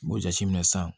N b'o jateminɛ sisan